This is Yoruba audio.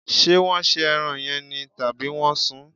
Ṣé wọn se ẹran yẹn ni, tàbí wọn sún?